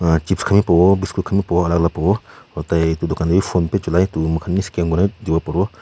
chips khan bi pabo biscuit khan bi pabo alak alak pabo aru tai etu dukan te phonepay chulai toh moikhan bi scan kurina bi dibo paribo.